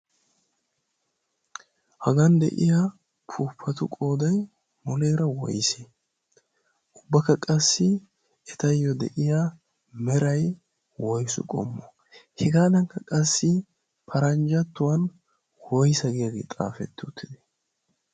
hagan de'iya pupatu qoodai muleera woisi ubbakka qassi etayyo de'iya merai woisu qommo hegaadankka qassi paranjjattuwan woysa giyaagee xaafetti uttide?